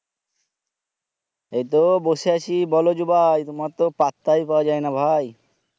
এইতো বসে আছি বলো জুবাই তুমার তো পাত্তাই পাওয়া যায়না ভাই